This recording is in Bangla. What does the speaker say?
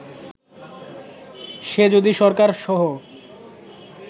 সে যদি সরকার সহ